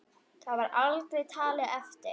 Það var aldrei talið eftir.